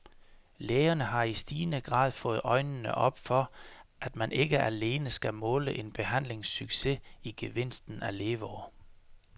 Lægerne har i stigende grad fået øjnene op for, at man ikke alene skal måle en behandlings succes i gevinsten af leveår.